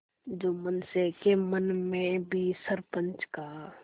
जुम्मन शेख के मन में भी सरपंच का